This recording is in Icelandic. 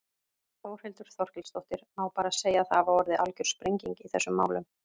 Þórhildur Þorkelsdóttir: Má bara segja að það hafi orðið algjör sprenging í þessum málum?